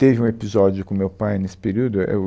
Teve um episódio com o meu pai nesse período. É, é o,